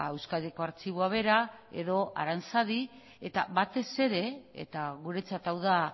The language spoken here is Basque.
euskadiko artxiboa bera edo aranzadi eta batez ere eta guretzat hau da